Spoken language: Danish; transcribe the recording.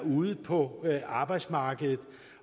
ude på det danske arbejdsmarked